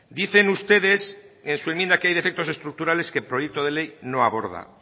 dicen ustedes en su enmienda que hay defectos estructurales que el proyecto de ley no aborda